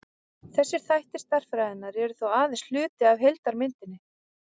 þessir þættir stærðfræðinnar eru þó aðeins hluti af heildarmyndinni